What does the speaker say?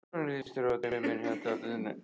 Hvernig lýst þér á dráttinn?